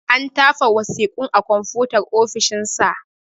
An tafa wasiƙun a konfutar ofishin sa.